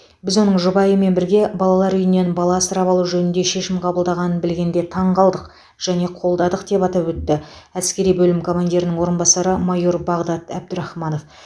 біз оның жұбайымен бірге балалар үйінен бала асырап алу жөнінде шешім қабылдағанын білгенде таң қалдық және қолдадық деп атап өтті әскери бөлім командирінің орынбасары майор бағдат әбдірахманов